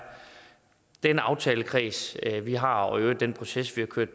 den aftalekreds vi har og i øvrigt den proces vi har kørt